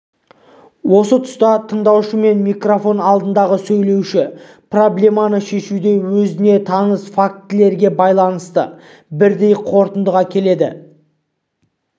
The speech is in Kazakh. осы тұста тыңдаушы мен микрофон алдындағы сөйлеуші проблеманы шешуде өздеріне таныс фактілерге байланысты бірдей қорытындыға келеді